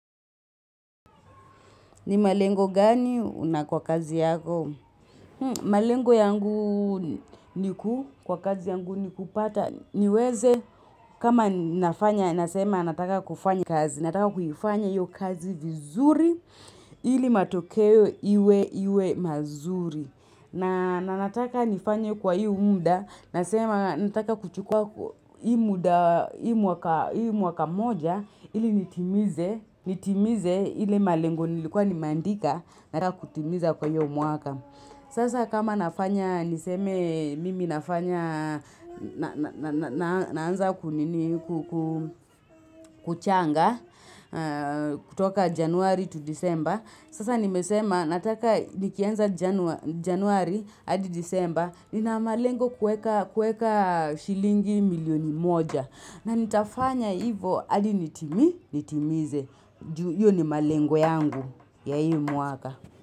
Ni malengo gani una kwa kazi yako? Malengo yangu niku, kwa kazi yangu niku pata, niweze kama nafanya, nasema nataka kufanya kazi, nataka kuifanya hio kazi vizuri ili matokeo iwe iwe mazuri. Na nataka nifanye kwa hii mda, nasema nataka kuchukua hii mda hii mwaka moja ili nitimize, nitimize ile malengu nilikuwa nimeandika na kutimiza kwa hio umuaka. Sasa kama nafanya, niseme mimi nafanya, naanza kuchanga kutoka januari to disemba. Sasa nimesema, nataka nikianza januari, adi disemba, nina malengo kueka shilingi milioni moja. Na nitafanya hivo, adi nitimi, nitimize. Hio ni malengo yangu ya hii mwaka.